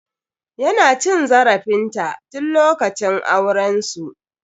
Ya na cin zarafin ta tun lokacin auren su.